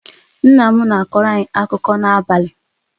Nna m na-akọrọ anyị akụkọ n'abalị